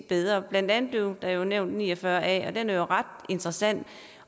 bedre blandt andet blev der nævnt § ni og fyrre a den er jo ret interessant